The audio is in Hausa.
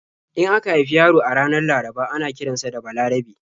In aka haifi yaro a ranar Laraba ana kiran sa da 'Balarabe'.